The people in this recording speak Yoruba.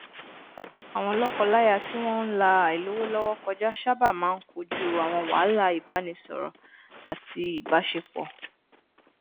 àwọn lọkọláya tí wọn n la àìlówólọwọ kọjá sábà máa n kojú àwọn wàhálà ìbánisọrọ àti ìbáṣepọ